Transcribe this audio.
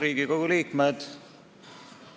Riigikogu liikmed!